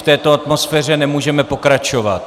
V této atmosféře nemůžeme pokračovat!